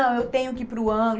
Não, eu tenho que ir para o Anglo.